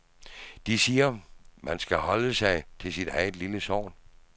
De siger, at man skal holde sig til sit eget lille sogn.